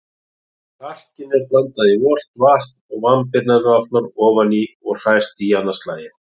Kalkinu er blandað í volgt vatn, vambirnar látnar ofan í og hrært í annað slagið.